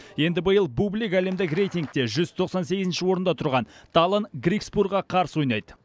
енді биыл бублик әлемдік рейтингте жүз тоқсан сегізінші орында тұрған таллон грикспурға қарсы ойнайды